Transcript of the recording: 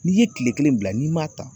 N'i ye tile kelen bila n'i m'a ta